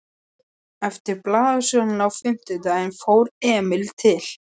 Eftir blaðasöluna á fimmtudaginn fór Emil til